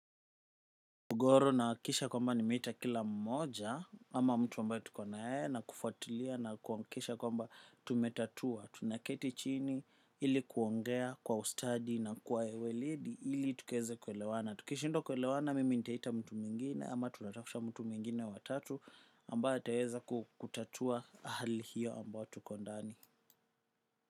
Mugoro nahakikisha kwamba nimeita kila mmoja ama mtu ambaye tuko na yeye na kufuatilia na kuhakikisha kwamba tumetatua, tunaketi chini ili kuongea kwa ustadi na kwa ueledi ili tukaweze kuelewana. Tukishindwa kuelewana mimi nita ita mtu mwingine ama tunatafuta mtu mwingine wa tatu ambae ataweza kukutatua hali hiyo ambayo tuko ndani.